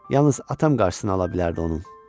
Yalnız atam qarşısını ala bilərdi onun.